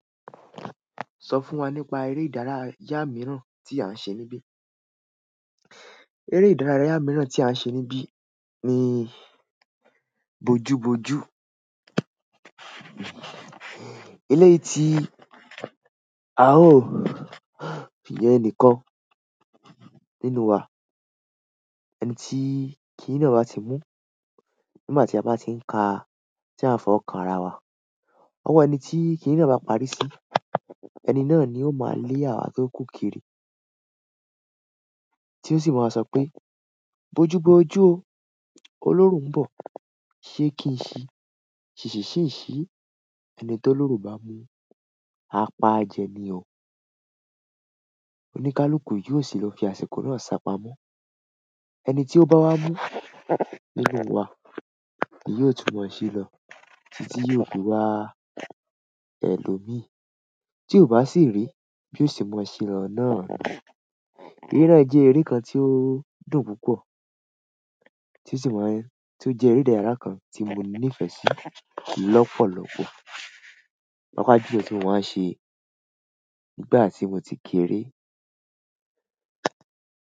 Sọ fún wa nípa eré ìdárayá mìíràn tí à ń ṣe níbí. Eré ìdárayá mìíràn tí à ń ṣe níbí ni bojú bojú. Eléyìí ti a ó fi yan enìkan nínú wa. Ẹni tí kìni náà ba ti mú nígbà tí a bá ti ń ka tí a ń fi owo kan ara wa. Ọwọ́ ẹni tí kì ni na bá parí sí, ẹni náà ni ó máa lé àwa tó kú kiri. Ti o si ma so pe, boju boju o, oloro n bo, se kin si ṣìṣì ṣì ń ṣí?" Ẹni tó oloro bá mú, a paa jẹni o. Onikaluku yo si lo fi àsìkò náà sa pamọ́. Ẹni tí ó bá wá mú nínú wa, yóò tún mọ ṣe lọ títí yóò fi wá ẹ lo mì. Tí ó bá sì rí, bi o se mọ ṣe lọ náà. Eré náà jẹ́ eré kan tí ó dùn púpọ̀ tí ó sì máa ń-- tí ó jẹ́ eré ìdárayá kan tí mo nífẹ̀ẹ́ sí lọ́pọ̀lọ́pọ̀. Owa je èyí ti mo máa ń ṣe nígbà tí mo ti kéré.